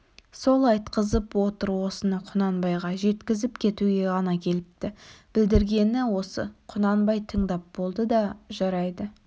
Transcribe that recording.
сол айтқызып отыр осыны құнанбайға жеткізіп кетуге ғана келіпті білдіргені осы құнанбай тыңдап болды да жарайды